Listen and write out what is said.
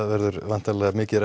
verður væntanlega mikið